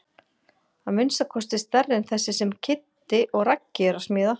Að minnsta kosti stærri en þessi sem Kiddi og Raggi eru að smíða.